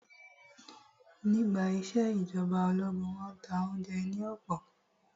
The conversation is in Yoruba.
Nígbà ìṣèjọba ológun, wọ́n n ta oúnjẹ ní ọ̀pọ̀